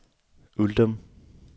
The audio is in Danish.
Uldum